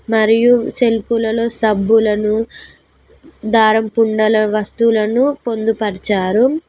మరియు సెల్ఫ్లు లో సబ్బులను దారం పుడలా వస్తువులను పొదుపరిచారు.